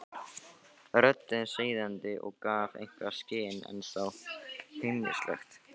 Röddin seiðandi og gaf eitthvað í skyn, en þó heimilisleg.